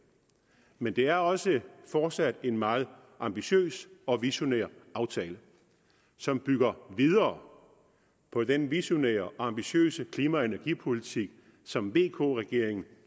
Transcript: men det er også fortsat en meget ambitiøs og visionær aftale som bygger videre på den visionære og ambitiøse klima og energipolitik som vk regeringen